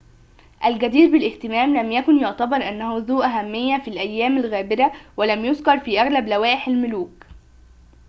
الجدير بالاهتمام لم يكن يعتبر أنه ذو أهمية في الأيام الغابرة ولم يُذكر في أغلب لوائح الملوك